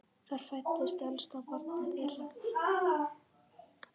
Þar fæddist elsta barn þeirra.